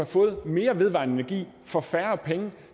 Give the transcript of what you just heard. fået mere vedvarende energi for færre penge